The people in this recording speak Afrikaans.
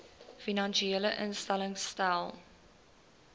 finansiële instellings stel